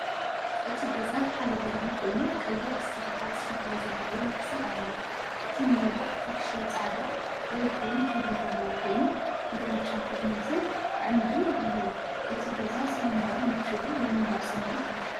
እቲ ገዛ ሓደ ደርቢ ኮይኑ ቀይሕ ስርሓት ሸኽላ ዘለዎ ናሕሲ ኣለዎ። እቲ መናድቕ ፍሕሽው ጻዕዳ ወይ ክሬም ሕብሪ ዘለዎ ኮይኑ፡ ግራጭ ኮርኒስን ኣዕኑድን ኣለዎ። እቲ ገዛ ሰላማውን ምቹእን ናይ ምንባር ስምዒት ይህብ።